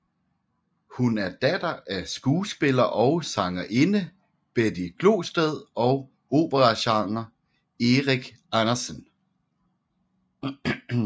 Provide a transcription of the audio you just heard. Hun er datter af skuespiller og sangerinde Betty Glosted og operasanger Erik Andersen